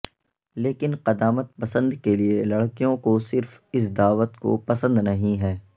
لیکن قدامت پسند کے لئے لڑکیوں کو صرف اس دعوت کو پسند نہیں ہیں